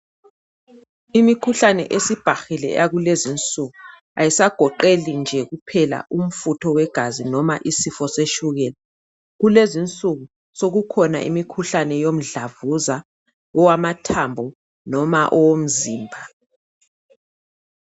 Imikhuhlane esibhahile eyakulezi nsuku ayisagoqeli nje kuphela umfutho wegazi noma isifo setshukela kulezinsuku sekukhona imikhuhlane yomdlavuza owamathambo noma owomzimba.